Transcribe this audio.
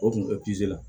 O tun bɛ la